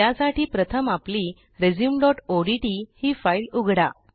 त्यासाठी प्रथम आपली resumeओडीटी ही फाईल उघडा